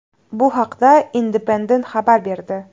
Bu haqda Independent xabar berdi .